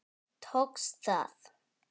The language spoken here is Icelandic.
Tókst það.